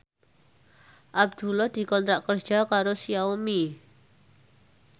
Abdullah dikontrak kerja karo Xiaomi